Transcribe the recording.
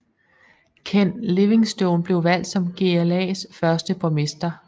Ken Livingstone blev valgt som GLAs første borgmester